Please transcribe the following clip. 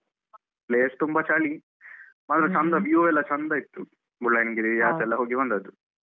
Place ತುಂಬಾ ಚಳಿ ಮಾತ್ರ ಚಂದ view ಎಲ್ಲ ಚಂದ ಇತ್ತು ಮುಳ್ಳಯ್ಯನಗಿರಿ ಆಚೆಯೆಲ್ಲಾ ಹೋಗಿ ಬಂದದ್ದು